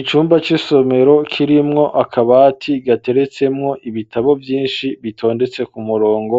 icumba c'isomero kirimwo akabati gateretsemwo ibitabo vyinshi bitondetse ku murongo,